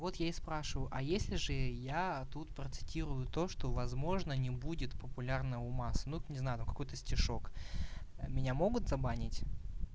вот я и спрашиваю а если же я тут процитирую то что возможно не будет популярно у масс ну не знаю ну какой-то стишок меня могут забанить